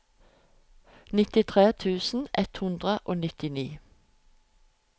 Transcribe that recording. nittitre tusen ett hundre og nittini